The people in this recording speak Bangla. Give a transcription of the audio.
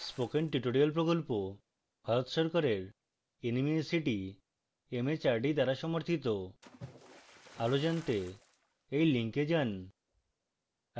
spoken tutorial প্রকল্প ভারত সরকারের nmeict mhrd দ্বারা সমর্থিত আরো জনাতে এই লিঙ্কে যান